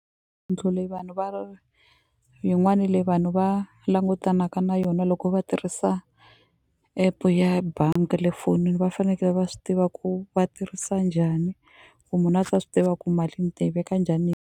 leyi vanhu va yin'wani leyi vanhu va langutanaka na yona loko va tirhisa app-u ya bangi ya le fonini va fanekele va swi tiva ku va tirhisa njhani ku munhu a ta swi tiva ku mali ni ta yi veka njhani.